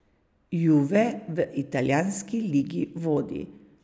Juve v italijanski ligi vodi.